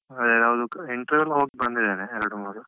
ಹಾಗೆ ಯಾವುದೂ interview ಎಲ್ಲ ಹೋಗಿ ಬಂದಿದ್ದೇನೆ ಎರಡ್ಮೂರು.